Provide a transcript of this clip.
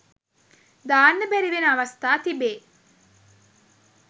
දාන්න බැරි වෙන අවස්ථා තිබේ.